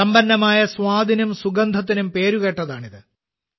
സമ്പന്നമായ സ്വാദിനും സുഗന്ധത്തിനും പേരുകേട്ടതാണ് ഇത്